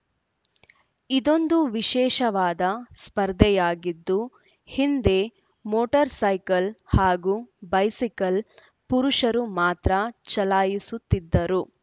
ಇದೊಂದು ವಿಶೇಷವಾದ ಸ್ಪರ್ಧೆಯಾಗಿದ್ದು ಹಿಂದೆ ಮೋಟಾರ್‌ ಸೈಕಲ್‌ ಹಾಗೂ ಬೈಸಿಕಲ್‌ ಪುರುಷರು ಮಾತ್ರ ಚಲಾಯಿಸುತ್ತಿದ್ದರು